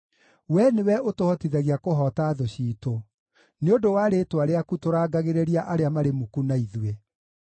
Wee nĩwe ũtũhotithagia kũhoota thũ ciitũ; nĩ ũndũ wa rĩĩtwa rĩaku tũrangagĩrĩria arĩa marĩ muku na ithuĩ.